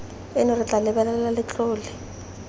eno re tla lebelela letlole